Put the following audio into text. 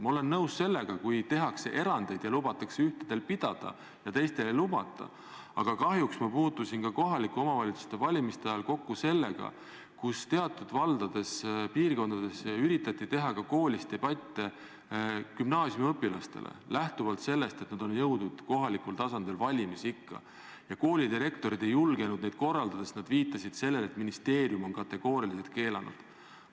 Ma olen nõus sellega siis, kui tehakse erandeid ja lubatakse ühtedel pidada ja teistel ei lubata, aga kahjuks ma puutusin ka kohalike omavalitsuste valimiste ajal kokku sellega, kui teatud valdades, piirkondades, üritati teha ka koolis debatte gümnaasiumiõpilastele, lähtuvalt sellest, et nad olid jõudnud kohalikul tasandil valimisikka, aga koolidirektorid ei julgenud neid korraldada, nad viitasid sellele, et ministeerium on kategooriliselt selle keelanud.